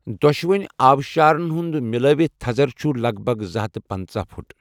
دۄشوٕنۍ آبشارن ہُنٛد مِلٲوِتھ تھزر چھُ لگ بگ زٕ ہتھَ تہٕ پنژاہ فٹ۔